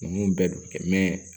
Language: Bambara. Ninnu bɛɛ bɛ kɛ